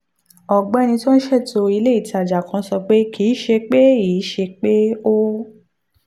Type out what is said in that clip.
ọ̀gbẹ́ni cyriacus okeh tó ń ṣètò ilé ìtajà kan sọ pé kì í ṣe pé í ṣe pé ó